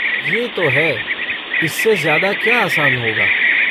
ये तो है! इससे ज़्यादा क्या आसान होगा।